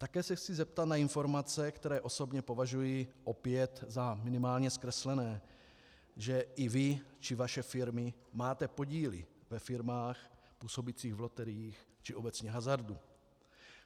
Také se chci zeptat na informace, které osobně považuji opět za minimálně zkreslené, že i vy či vaše firmy máte podíly ve firmách působících v loteriích, či obecně hazardu.